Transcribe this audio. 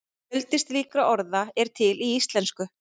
fjöldi slíkra orða er til í íslensku